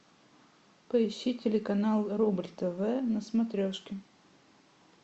поищи телеканал рубль тв на смотрешке